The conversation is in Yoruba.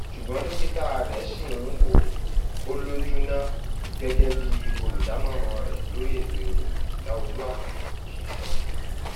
ṣùgbọn dókítà rẹ ṣì um ń wò ó lójú ná gẹgẹ bí olùdámọràn um rẹ lórí ètò ìròyìn láolú àkàndé ṣe sọ